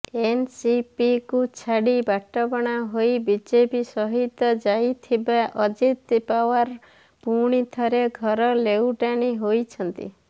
ଏନସିପିକୁ ଛାଡି ବାଟବଣା ହୋଇ ବିଜେପି ସହିତ ଯାଇଥିବା ଅଜିତ୍ ପାୱାର୍ ପୁଣିଥରେ ଘର ଲେଉଟାଣି ହୋଇଛନ୍ତି